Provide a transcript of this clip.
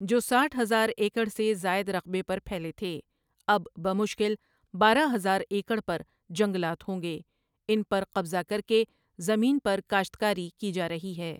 جو سٹھ ہزار ایکڑ سے زائد رقبے پر پھیلے تھے اب بمشکل بارہ ہزار ایکڑ پر جنگلات ہوں گے، ان پر قبضہ کر کے زمین پر کاشت کاری کی جا رہی ہے ۔